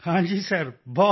ਹਾਂ ਜੀ ਸਰ ਬਹੁਤ